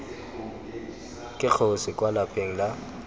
ke kgosi kwa lapeng la